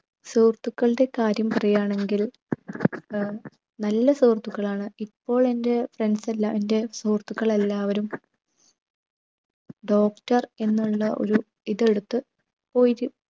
സുഹൃത്തുക്കളുടെ കാര്യം പറയുകയാണെങ്കിൽ ഏർ നല്ല സുഹൃത്തുക്കളാണ് ഇപ്പൊളെൻ്റെ friends എല്ലാ എന്റെ സുഹൃത്തുക്കളെല്ലാവരും doctor എന്നുള്ള ഒരു ഇതെടുത്ത് പോയിരു